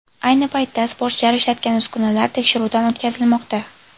Ayni paytda sportchilar ishlatgan uskunalar tekshiruvdan o‘tkazilmoqda.